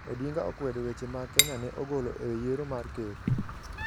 Odinga okwedo weche ma Kenya ne ogolo e yiero mar ker